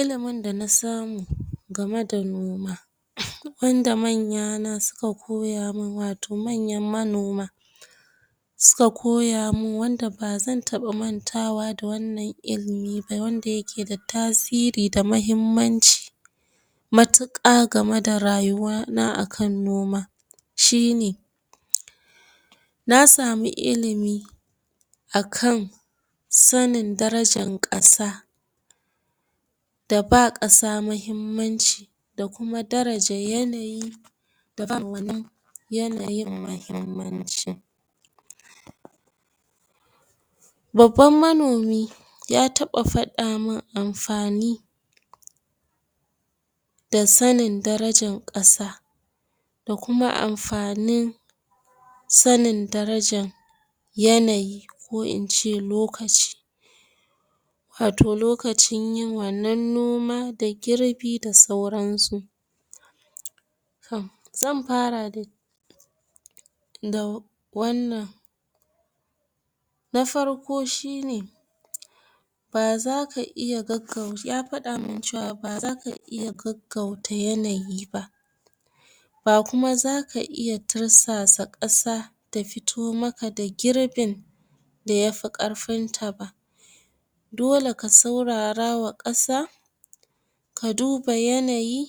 Ilimin da na samu game da noma, wanda manya na suka koya mun, wato manyan manoma suka koya mun, wanda ba zan taɓa mantawa da wannan ilimi ba, wanda yake da tasiri da mahimmanci matuƙa game da rayuwa na a kan noma shine: na samu ilimi a kan sanin darajan ƙasa, da ba ƙasa mahimmanci, da kuma darajan yanayi yanayin mahimmanci. Babban manomi, ya taɓa faɗa mun amfani da sanin darajan ƙasa, da kuma amfanin sanin darajan yanayi ko in ce lokaci, wato lokacin yin wannan noma, da girbi da sauran su. um Zan fara dai da wannan: na farko shine, ya faɗa mun cewa ba zaka iya gaggauta yanayi ba, ba kuma zaka iya tirsasa ƙasa ta fito maka da girbin da yafi ƙarfin ta ba, dole ka saurara wa ƙasa, ka duba yanayi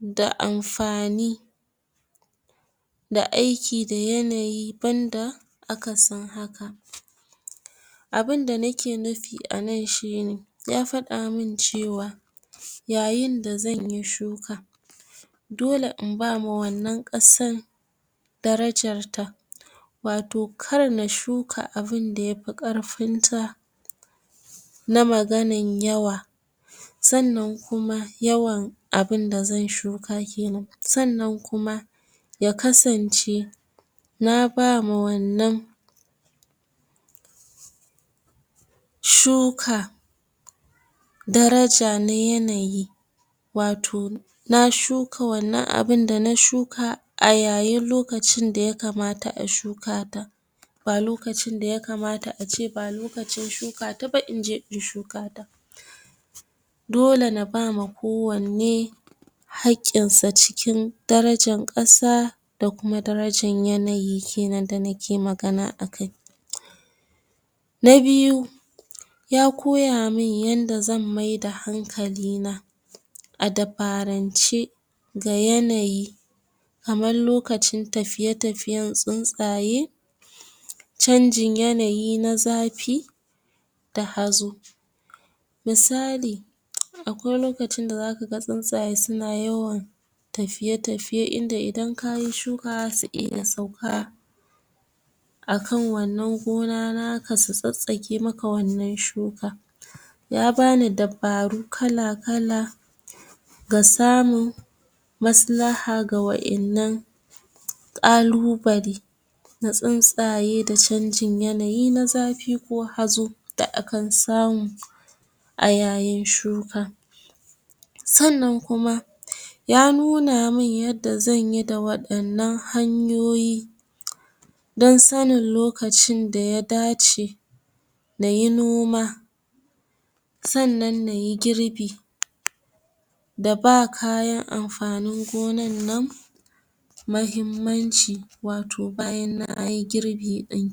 da amfani, da aiki da yanayi, banda akasin haka. Abunda nake nufi a nan shine, ya faɗa mun cewa yayin da zanyi shuka, dole in ba ma wannan ƙasan darajar ta, wato kar na shuka abunda yafi ƙarfin ta na maganan yawa. Sannan kuma, yawan abunda zan shuka kenan, sannan kuma ya kasance na ba ma wannan shuka daraja na yanayi, wato na shuka wannan abunda na shuka, a yayin lokacin da ya kamata a shuka ta, ba lokacin da ya kamata a ce ba lokacin shuka ta ba inje in shuka ta. Dole na ba ma ko wanne haƙƙin sa, cikin darajan ƙasa da kuma darajan yanayi kenan da nake magana a kai. Na biyu, ya koya mun yanda zan maida hanakali na a dabarance ga yanayi, kaman lokacin tafiye-tafiyen tsuntsaye, canjin yanayi na zafi, da hazo. Misali: akwai lokacin da za kaga tsuntsaye suna yawan tafiye-tafiye, inda idan kayi shuka za su iya sauka a kan wannan gona naka, su tsatstsake maka wannan shuka. Ya bani dabaru kala-kala, ga samun maslaha ga wa'innan ƙalubale na tsuntsaye, da canjin yanayi na zafi ko hazo da a kan samu a yayin shuka. Sannan kuma, ya nuna mun yanda zanyi da waɗannan hanyoyi, dan sanin lokacin da ya dace nayi noma, sannan nayi girbi da ba kayan amfanin gonan nan mahimmanci, wato bayan nayi girbi ɗin kenan.